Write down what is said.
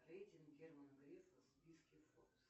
рейтинг германа грефа в списке форбс